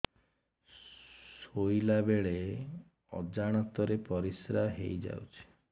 ଶୋଇଲା ବେଳେ ଅଜାଣତ ରେ ପରିସ୍ରା ହେଇଯାଉଛି